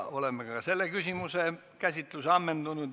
Oleme ka selle küsimuse ammendanud.